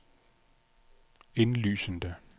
indlysende